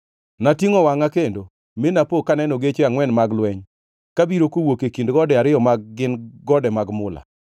Natingʼo wangʼa kendo, mi napo kaneno geche angʼwen mag lweny kabiro kowuok e kind gode ariyo ma gin gode mag mula!